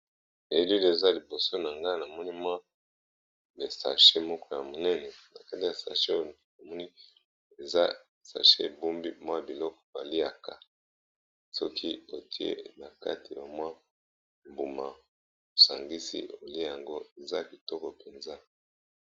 Elil eza liboso na nga na moni mwa ba sache moko ya monene na kati ya sache amoni eza sache bumbi mwa biloko baliaka soki otie na kati ya mwa mbuma osangisi oli yango eza kitoko mpenza.